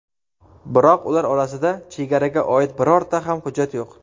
Biroq ular orasida chegaraga oid birorta ham hujjat yo‘q.